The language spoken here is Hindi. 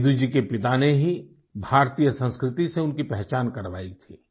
सेदू जी के पिता ने ही भारतीय संस्कृति से उनकी पहचान करवाई थी